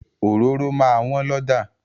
Òróró máa wọ́n lọ́jà.